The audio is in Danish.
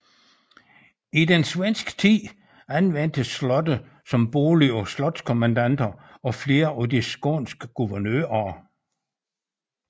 I den svenske tid anvendtes slottet som bolig af slotskommendanter og flere af de skånske guvernører